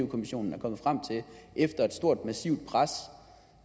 kommissionen er kommet frem til efter et stort massivt pres